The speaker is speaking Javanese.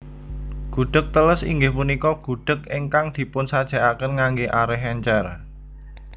Gudheg teles inggih punika gudheg ingkang dipunsajèkaken nganggé arèh èncèr